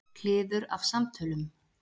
Kliður af samtölum.